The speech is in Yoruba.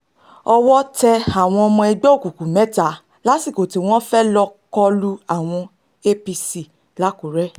owó tẹ àwọn ọmọ ẹgbẹ́ òkùnkùn mẹ́ta lásìkò tí wọ́n fẹ́ẹ́ lọ́ọ́ kọ lu àwọn apc làkúrẹ́